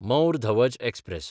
मौर धवज एक्सप्रॅस